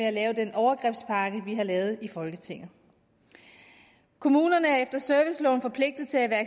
at lave den overgrebspakke vi har lavet i folketinget kommunerne er efter serviceloven forpligtet til at